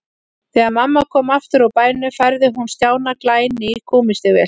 Þegar mamma kom aftur úr bænum færði hún Stjána glæný gúmmístígvél.